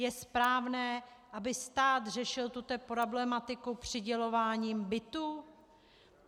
Je správné, aby stát řešil tuto problematiku přidělováním bytů?